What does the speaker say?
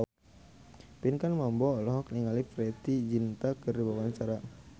Pinkan Mambo olohok ningali Preity Zinta keur diwawancara